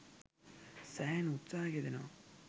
සෑහෙන උත්සහයක යෙදෙනවා.